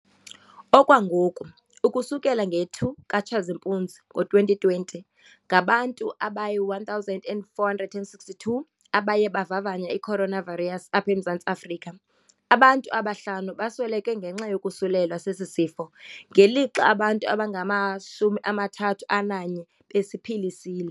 Okwangoku, ukusukela nge-2 ka-Tshazimpunzi ngo-2020, ngabantu abayi-1 462 abaye bavavanya i-coronavirus apha eMzantsi Afrika. Abantu abahlanu basweleke ngenxa yokosulelwa sesi sifo, ngelixa abantu abangama-31 besiphilisile.